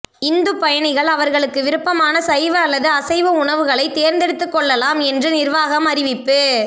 இந்து பயணிகள் அவர்களுக்கு விருப்பமான சைவ அல்லது அசைவ உணவுகளை தேர்ந்தெடுத்துக் கொள்ளலாம் என்று நிர்வாகம் அறிவிப்பு